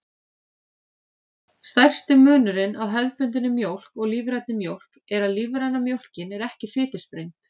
Stærsti munurinn á hefðbundinni mjólk og lífrænni mjólk er að lífræna mjólkin er ekki fitusprengd.